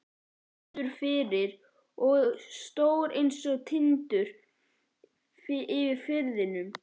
Fastur fyrir og stór einsog Tindur yfir firðinum.